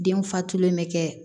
Den fatulen bɛ kɛ